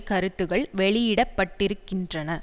கருத்துக்கள் வெளியிடப்பட்டிருக்கின்றன